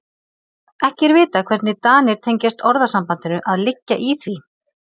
Ekki er vitað hvernig Danir tengjast orðasambandinu að liggja í því.